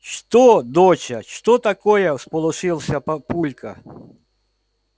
что доча что такое всполошился папулька